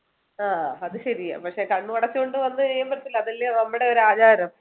ആഹ് അത് ശരിയാ പക്ഷെ കണ്ണും അടച്ചു വന്നു കഴിയുമ്പോളത്തേലു അതല്ലേ നമ്മുടെ ഒരു ആചാരം